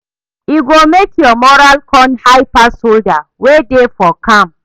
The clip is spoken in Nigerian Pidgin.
e go mek yur moral con high pass soldier wey dey for camp